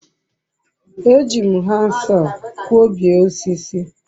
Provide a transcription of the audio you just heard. eji m handsaw kwobie osisi